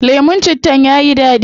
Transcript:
Lemun cittan yayi dadi